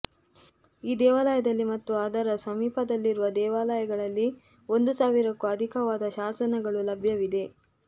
ಈ ದೇವಾಲಯದಲ್ಲಿ ಮತ್ತು ಅದರ ಸಮೀಪದಲ್ಲಿರುವ ದೇವಾಲಯಗಳಲ್ಲಿ ಒಂದು ಸಾವಿರಕ್ಕೂ ಅಧಿಕವಾದ ಶಾಸನಗಳು ಲಭ್ಯವಿದೆ